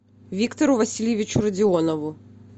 виктору васильевичу родионову